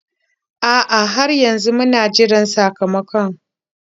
A'a, har yanzu muna jiran sakamakon.